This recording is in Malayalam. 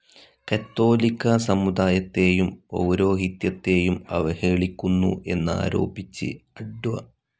കത്തോലിക്കാ സമുദായത്തേയും പൗരോഹിത്യത്തേയും അവഹേളിക്കുന്നു എന്നാരോപിച്ച് അഡ്വ.